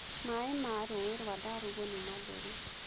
Maĩ ma rũĩ rwa Ndarugu nĩ matheru.